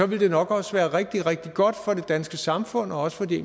vil det nok også være rigtig rigtig godt for det danske samfund og også for de